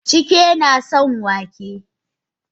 Chike nason wake.